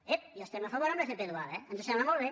ep hi estem a favor de l’fp dual eh ens sembla molt bé